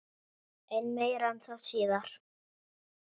En meira um það síðar.